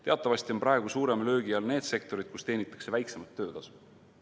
Teatavasti on praegu suurema löögi all need sektorid, kus teenitakse väiksemat töötasu.